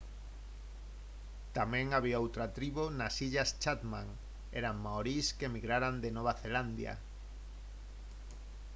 tamén había outra tribo nas illas chatham eran maorís que emigraran de nova zelandia